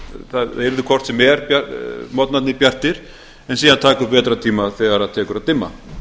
það yrðu hvort sem er morgnarnir bjartir en síðan taka upp vetrartíma þegar tekur að dimma